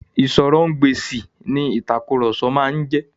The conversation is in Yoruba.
Ìsọ̀rọ̀-ǹ-gbèsì ni ìtàkurọ̀sọ máa ń jẹ́.